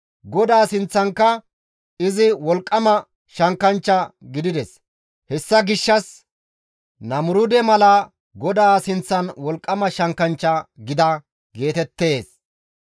GODAA sinththankka izi wolqqama shankkanchcha gidides; hessa gishshas, «Namuruude mala GODAA sinththan wolqqama shankkanchcha gida» geetettees.